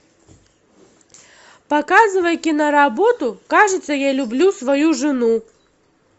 показывай киноработу кажется я люблю свою жену